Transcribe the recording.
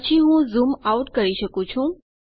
પછી હું zoom out કરી શકું છું